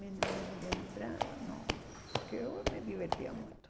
Minhas lembran... Nossa, que eu me divertia muito.